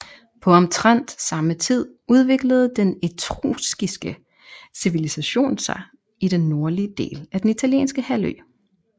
På omtrent samme tid udviklede den etruskiske civilisation sig i den nordlige del af den italienske halvø